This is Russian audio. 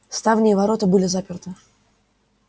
ставни и ворота были заперты